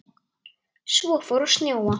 Svo fór að snjóa.